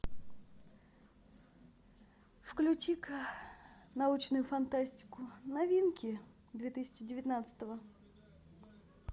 включи ка научную фантастику новинки две тысячи девятнадцатого